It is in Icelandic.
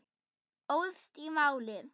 Óðst í málið.